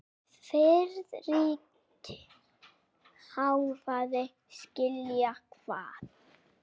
Friðrik hváði: Skilja hvað?